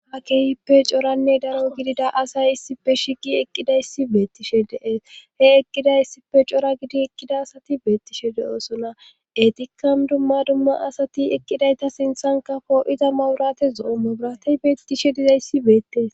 aakeyippe coranne daro gidida asay issife shigi eqqidayssi beettishe deees he eqqida issife cora gidi eqqida asati beettishe de7osonna etikkan dumma dumma asati eqqidayta sinthanka poo7iza mawurate zo7ommo biratey beettishe dizayssi beettes